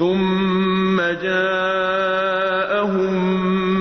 ثُمَّ جَاءَهُم